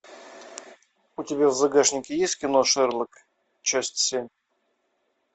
у тебя в загашнике есть кино шерлок часть семь